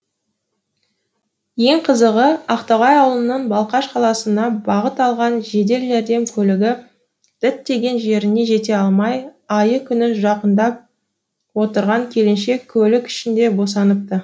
ең қызығы ақтоғай ауылынан балқаш қаласына бағыт алған жедел жәрдем көлігі діттеген жеріне жете алмай айы күні жақындап отырған келіншек көлік ішінде босаныпты